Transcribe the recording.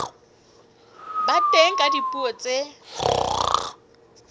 ba teng ka dipuo tse